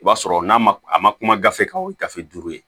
I b'a sɔrɔ n'a ma a ma kuma gafe kan o ye gafe duuru ye